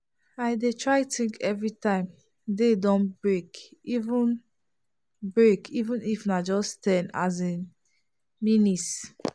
i dey try think every time day don break even break even if na just ten as in minutes.